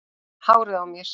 Hárið á mér?